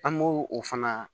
An b'o o fana